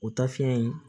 O taa fiyɛn in